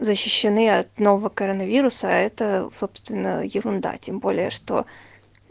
защищены от нового коронавируса это собственно ерунда тем более что